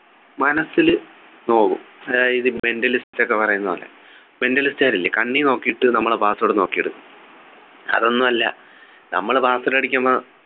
മനസില് നോവും അതായത് mentalist ഒക്കെ പറയുന്ന പോലെ mentalist കാരില്ലേ കണ്ണി നോക്കീട്ട് നമ്മളെ password നോക്കിയെടുക്കും അതൊന്നും അല്ല നമ്മൾ password അടിക്കുമ്പോ